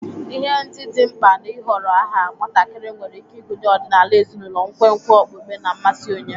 Ihe ndị dị mkpa n'ịhọrọ aha nwatakịrị nwere ike ịgụnye ọdịnala ezinụlọ, nkwenkwe okpukpe, na mmasị onye.